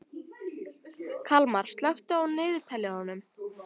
Kalmar, slökktu á niðurteljaranum.